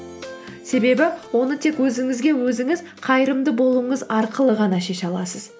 себебі оны тек өзіңізге өзіңіз қайырымды болуыңыз арқылы ғана шеше аласыз